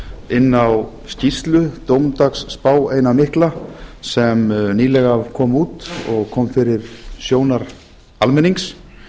inn á skýrslu dómsdagsspá eina mikla sem nýlega kom út og kom fyrir sjónir almennings